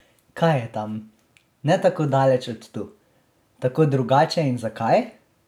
Kaj je tam, ne tako daleč od tu, tako drugače in zakaj?